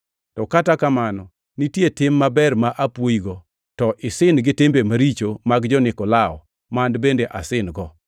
To kata kamano nitie tim maber ma apwoyigo, to isin gi timbe maricho mag jo-Nikolao ma an bende asin-go.